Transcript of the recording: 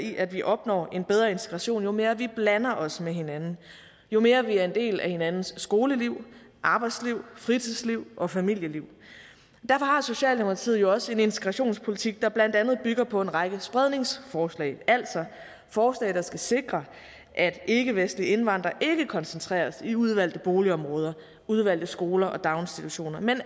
i at vi opnår en bedre integration jo mere vi blander os med hinanden jo mere vi er en del af hinandens skoleliv arbejdsliv fritidsliv og familieliv derfor har socialdemokratiet jo også en integrationspolitik der blandt andet bygger på en række spredningsforslag altså forslag der skal sikre at ikkevestlige indvandrere ikke koncentreres i udvalgte boligområder udvalgte skoler og daginstitutioner men